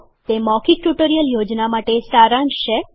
તે મૌખિક ટ્યુટોરીયલ યોજના માટે સારાંશ છે